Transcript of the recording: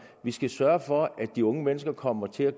vi skal sørge for at de unge mennesker kommer til at